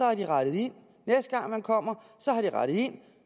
har de rettet ind næste gang man kommer har de rettet ind